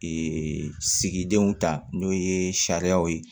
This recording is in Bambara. sigidenw ta n'o ye sariyaw ye